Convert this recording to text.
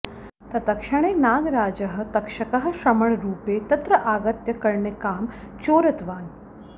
तत्क्षणे नागराजः तक्षकः श्रमणरूपे तत्र आगत्य कर्णिकां चोरितवान्